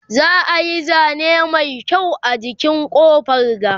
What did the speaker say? za'a Yi zane Mai kyau a jikin ƙofar ga